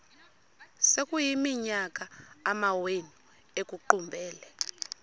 sekuyiminyaka amawenu ekuqumbele